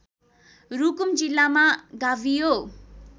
रुकुम जिल्लामा गाभियो